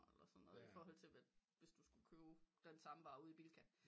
Eller sådan noget iforhold til hvis du skulle købe den samme varer ude i Bilka